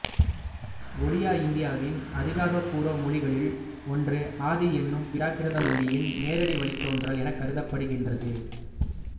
ஒடியா இந்தியாவின் அதிகாரபூர்வ மொழிகளுள் ஒன்று ஆதி என்னும் பிராகிருத மொழியின் நேரடி வழித்தோன்றல் எனக் கருதப்படுகின்றது